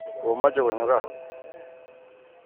Komacho konyo kaa.